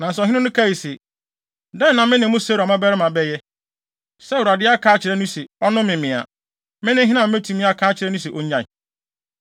Nanso ɔhene no kae se, “Dɛn na me ne mo Seruia mmabarima bɛyɛ? Sɛ Awurade aka akyerɛ no se, ɔnnome me a, me ne hena a metumi aka akyerɛ no se onnyae?”